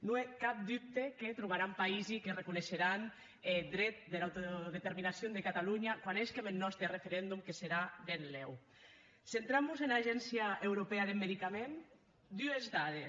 non è cap dubte que trobaram païsi qu’arreconeisherán eth dret dera autodeterminacion de catalonha quan hésquem eth nòste referendom que serà ben lèucentrant mos ena agéncia europèa deth medicament dues dades